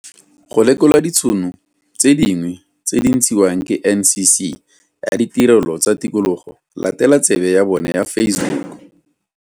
Go lekola ditšhono tse dingwe tse di ntshiwang ke NCC ya Ditirelo tsa Tikologo, latela tsebe ya bona ya Facebook.